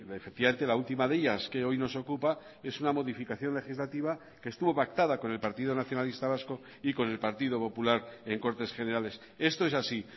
efectivamente la última de ellas que hoy nos ocupa es una modificación legislativa que estuvo pactada con el partido nacionalista vasco y con el partido popular en cortes generales esto es así